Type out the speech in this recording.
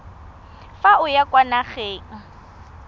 fa o ya kwa nageng